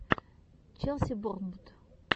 челси борнмут